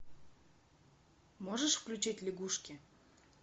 можешь включить лягушки